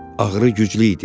Ağrı güclü idi.